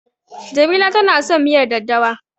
Jamila tana son miyar daddawa.